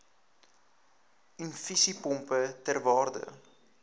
infusiepompe ter waarde